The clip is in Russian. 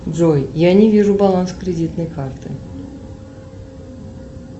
джой я не вижу баланс кредитной карты